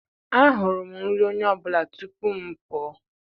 ahụrụ m nri onye ọ bụla tupu m pụọ.d